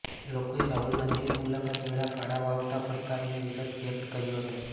લોકોએ રાહુલ ગાંધીની મુલાકાત વેળા કાળા વાવટા ફરકાવીને વિરોધ વ્યક્ત કર્યો હતો